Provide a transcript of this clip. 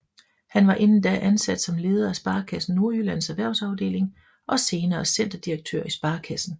Han var inden da ansat som leder af Sparekassen Nordjyllands erhvervsafdeling og senere centerdirektør i sparekassen